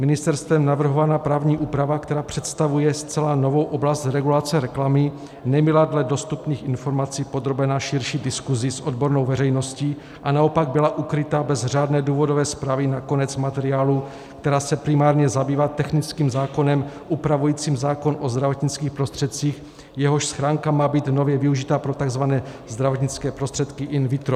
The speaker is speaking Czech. Ministerstvem navrhovaná právní úprava, která představuje zcela novou oblast regulace reklamy, nebyla dle dostupných informací podrobena širší diskusi s odbornou veřejností, a naopak byla ukryta bez řádné důvodové zprávy na konec materiálu, který se primárně zabývá technickým zákonem upravujícím zákon o zdravotnických prostředcích, jehož schránka má být nově využita pro tzv. zdravotnické prostředky in vitro.